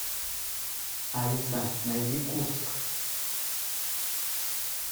алиса найди курск